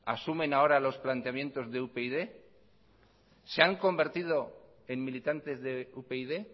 asumen ahora los planteamientos de upyd se han convertido en militantes de upyd